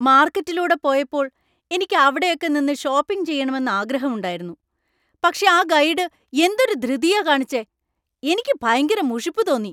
മാർക്കറ്റിലൂടെ പോയപ്പോൾ എനിക്ക് അവിടെയൊക്കെ നിന്ന് ഷോപ്പിങ് ചെയ്യണമെന്ന് ആഗ്രഹമുണ്ടായിരുന്നു. പക്ഷേ ആ ഗൈഡ് എന്തൊരു ധിറുതിയാ കാണിച്ചേ. എനിക്ക് ഭയങ്കര മുഷിപ്പ് തോന്നി.